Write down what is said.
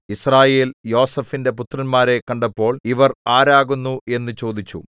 യിസ്രായേൽ യോസേഫിന്റെ പുത്രന്മാരെ കണ്ടപ്പോൾ ഇവർ ആരാകുന്നു എന്നു ചോദിച്ചു